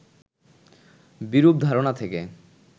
বিরূপ ধারণা থেকে